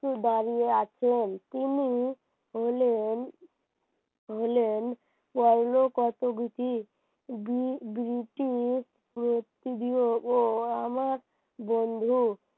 দাঁড়িয়ে আছেন তিনি হলেন হলেন পরলোগত বিধি তুমি দুটি প্রতিনিয়ো আমার বন্ধু